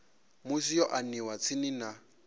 musi yo aniwa tsini na